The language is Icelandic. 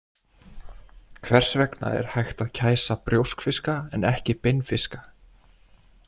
Hvers vegna er hægt að kæsa brjóskfiska en ekki beinfiska?